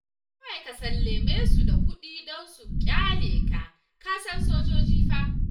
Kawai ka sallame su da kuɗi don su ƙyale ka, ka san sojoji fa